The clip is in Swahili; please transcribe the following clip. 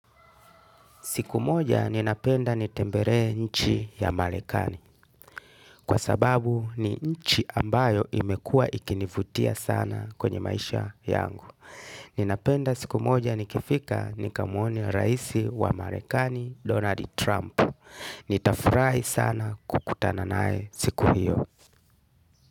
Siku moja ninapenda nitembelee nchi ya marekani. Kwa sababu ni nchi ambayo imekua ikinivutia sana kwenye maisha yangu. Ninapenda siku moja nikifika nikamuone raisi wa marekani, Donald Trump. Nitafurahi sana kukutana nae siku hiyo.